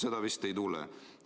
Seda vist ei tule.